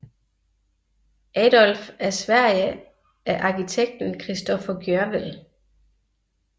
Adolf af Sverige af arkitekten Christoffer Gjörwell